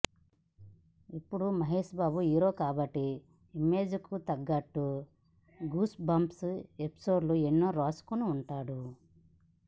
ఇప్పుడు మహేష్ బాబు హీరో కాబట్టి ఇమేజ్ కు తగట్టు గూస్ బంప్స్ ఎపిసోడ్స్ ఎన్నో రాసుకుని ఉంటాడు